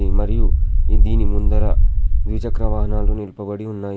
ఈ మరియు దీని ముందర ద్విచక్ర వాహనాలు నిలుపబడి ఉన్నాయి.